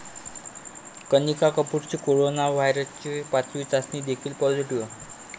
कनिका कपूरची कोरोना व्हायरसची पाचवी चाचणी देखील पॉझिटीव्ह